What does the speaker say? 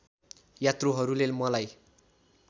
यात्रुहरूले मलाई